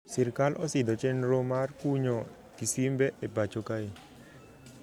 Sirkal osidho chendro mar kunyo kisimbe e pacho kae